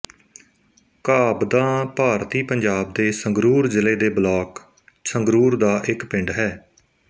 ਘਾਬਦਾਂ ਭਾਰਤੀ ਪੰਜਾਬ ਦੇ ਸੰਗਰੂਰ ਜ਼ਿਲ੍ਹੇ ਦੇ ਬਲਾਕ ਸੰਗਰੂਰ ਦਾ ਇੱਕ ਪਿੰਡ ਹੈ